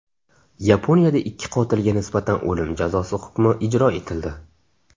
Yaponiyada ikki qotilga nisbatan o‘lim jazosi hukmi ijro etildi.